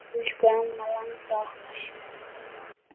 Elsku amma langa okkar.